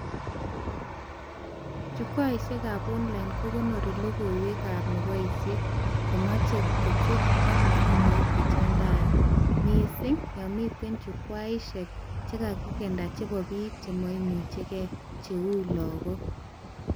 Chukwaishekab Online kokonori logoiwekab neboishee komache kochutke ak mfumoit nechamdaat , mising yomite chukwaishek chekakindena chebo bik chemaimuchke cheu laguk